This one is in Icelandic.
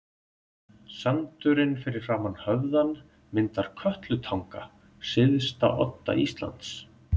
Sandurinn fyrir framan höfðann myndar Kötlutanga, syðsta odda Íslands.